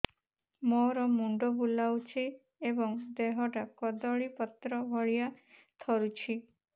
ମୋର ମୁଣ୍ଡ ବୁଲାଉଛି ଏବଂ ଦେହଟା କଦଳୀପତ୍ର ଭଳିଆ ଥରୁଛି